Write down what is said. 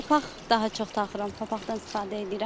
Papaq daha çox taxıram, papaqdan istifadə eləyirəm.